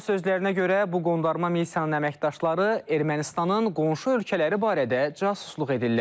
Onun sözlərinə görə bu qondarma missiyanın əməkdaşları Ermənistanın qonşu ölkələri barədə casusluq edirlər.